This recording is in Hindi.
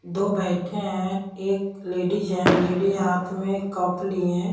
दो बैठे हैं एक लेडीज है लेडीज हाथ में कप लिए हैं।